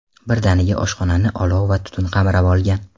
Birdaniga oshxonani olov va tutun qamrab olgan.